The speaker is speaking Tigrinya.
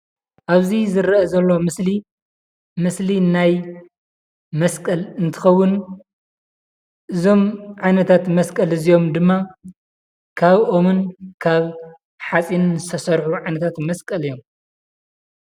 ኣብዚ ዝርአ ዘሎ ምስሊ ምስሊ ናይ መስቀል እንትኸውን እዞም ዓይነታት መስቀል እዚኦም ድማ ካብ ኦምን ካብ ሓፂንን ዝተሰርሑ ዓይነታት መስቀል እዮም፡፡